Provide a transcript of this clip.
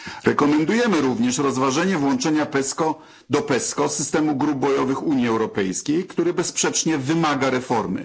Rekomendujemy również rozważenie włączenia do PESCO systemu grup bojowych Unii Europejskiej, który bezsprzecznie wymaga reformy.